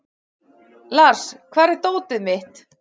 Lars, hvar er dótið mitt?